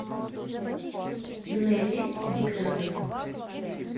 нелли викторовны